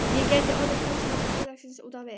Ég gæti orðið talsmaður félagsins út á við.